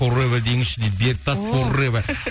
уревва деңізші дейді